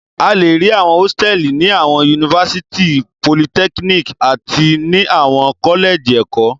A le rí àwọn hósítẹ́ẹ́lì ní àwọn yunifásítì, politẹ́kíníkì àti ní àwọn kọ́lẹ́jì ẹ̀kọ́.